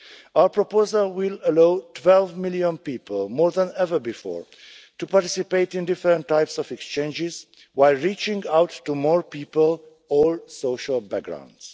Our proposal will allow 12 million people, more than ever before, to participate in different types of exchanges while reaching out to more people of all social backgrounds.